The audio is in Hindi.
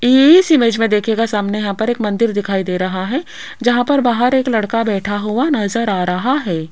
इस इमेज में देखेगा सामने यहां पर एक मंदिर दिखाई दे रहा है जहां पर बाहर एक लड़का बैठा हुआ नजर आ रहा है।